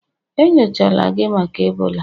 enyochala gi maka Ebola?